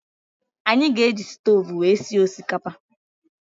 Anyị ga-eji stoovú wee sie osikapa.